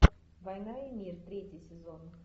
война и мир третий сезон